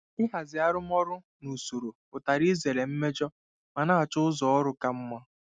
Ịhazi arụmọrụ na usoro pụtara izere mmejọ ma na-achọ ụzọ ọrụ ka mma.